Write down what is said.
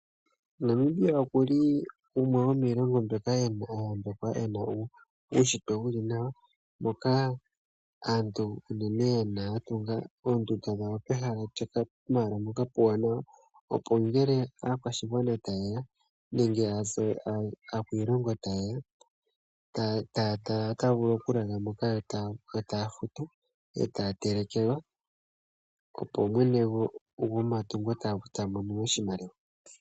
Namibia oku li gumwe gomiilongo mbyoka ya yambekwa e na uunshitwe wu li nawa moka aantu ya tunga oondunda pehala mpoka puuwanawa, opo ngele aakwashigwana taye ya nenge aakwiilongo taye ya otaya vulu okulala moka yo taya futu, yo taya telekelwa, opo mwene gomatungo ta mono oshimaliwa.